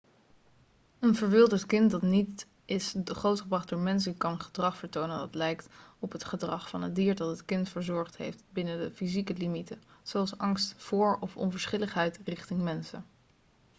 een verwilderd kind dat niet is grootgebracht door mensen kan gedrag vertonen dat lijkt op het gedrag van het dier dat het kind verzorgd heeft binnen de fysieke limieten zoals angst voor of onverschilligheid richting mensen